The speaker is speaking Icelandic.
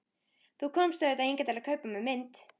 Þú komst auðvitað hingað til að kaupa af mér mynd.